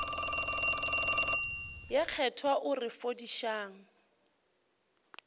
ye kgethwa o re fodišang